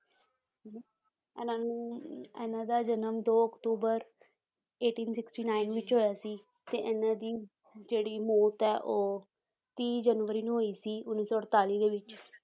ਇਹਨਾਂ ਨੂੰ ਇਹਨਾਂ ਦਾ ਜਨਮ ਦੋ ਅਕਤੂਬਰ eighteen sixty-nine ਵਿੱਚ ਹੋਇਆ ਸੀ ਤੇ ਇਹਨਾਂ ਦੀ ਜਿਹੜੀ ਮੌਤ ਆ ਉਹ ਤੀਹ ਜਨਵਰੀ ਨੂੰ ਹੋਈ ਸੀ ਉੱਨੀ ਸੌ ਅੜਤਾਲੀ ਦੇ ਵਿੱਚ